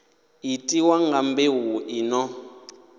itiwa nga mbeu i no